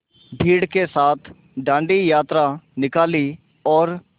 भीड़ के साथ डांडी यात्रा निकाली और